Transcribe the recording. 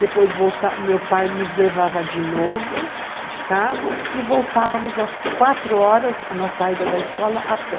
Depois voltávamos, meu pai nos levava de novo, de carro, e voltávamos às quatro horas, na saída da escola, a pé.